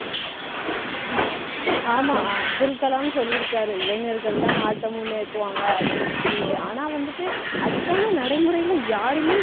ஆமா, அப்துல் கலாம் சொல்லியிருக்காரு இளைஞர்கள்தான் நாட்டை முன்னேத்துவாங்க அப்படி இப்டிண்டு ஆனா, வந்துட்டு அதுக்கான நடைமுறையிலே யாருமே